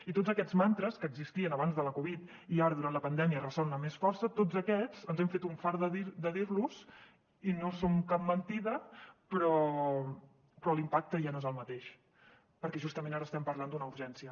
i tots aquests mantres que existien abans de la covid i ara durant la pandèmia ressonen amb més força tots aquests ens hem fet un fart dir los i no són cap mentida però l’impacte ja no és el mateix perquè justament ara estem parlant d’una urgència